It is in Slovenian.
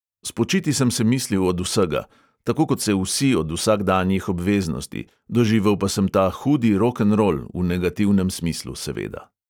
Spočiti sem se mislil od vsega, tako kot se vsi od vsakdanjih obveznosti, doživel pa sem ta hudi rokenrol, v negativnem smislu seveda.